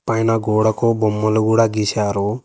పైన గోడకు బొమ్మలు గూడ గీశారు.